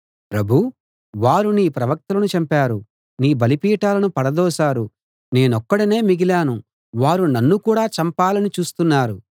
ప్రభూ వారు నీ ప్రవక్తలను చంపారు నీ బలిపీఠాలను పడదోశారు నేనొక్కడినే మిగిలాను వారు నన్ను కూడా చంపాలని చూస్తున్నారు